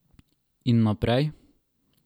In naprej?